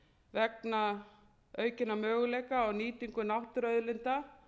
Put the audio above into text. vegna aukinna möguleika á nýtingu náttúruauðlinda